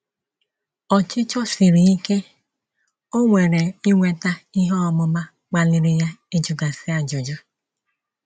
Ọchịchọ siri ike o nwere inweta ihe ọmụma kpaliri ya ịjụgasi ajụjụ.